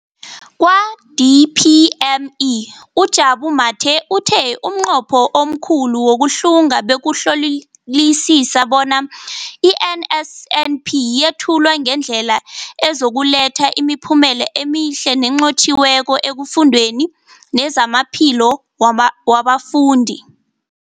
Kwa-DPME, uJabu Mathe, uthe umnqopho omkhulu wokuhlunga bekukuhlolisisa bona i-NSNP yethulwa ngendlela ezokuletha imiphumela emihle nenqotjhiweko efundweni nezamaphilo wabafundi.